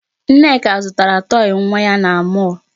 Nneka zụtara toy nwa ya na mall.